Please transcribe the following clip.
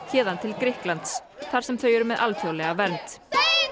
héðan til Grikklands þar sem þau eru með alþjóðlega vernd